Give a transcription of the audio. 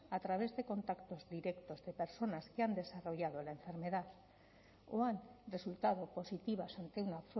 a través de contactos directos de personas que han desarrollado la enfermedad o han resultado positivas ante una